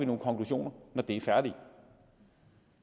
nogle konklusioner når de er færdige